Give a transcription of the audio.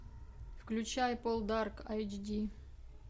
включай пол дарк эйч ди